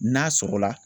N'a sɔgɔla